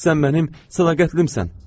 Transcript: Sən mənim sədaqətlimsən.